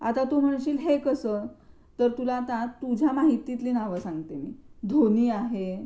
आता तू म्हणशील हे कसं तर आता तुला तुझ्या माहितीतली नाव सांगते मी धोनी आहे.